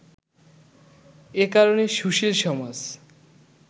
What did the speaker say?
এ কারণে সুশীল সমাজ